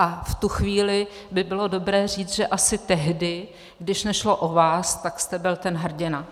A v tu chvíli by bylo dobré říct, že asi tehdy, když nešlo o vás, tak jste byl ten hrdina.